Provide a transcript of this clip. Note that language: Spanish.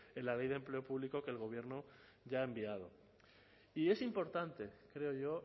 en la ley de empleo público que el gobierno ya ha enviado y es importante creo yo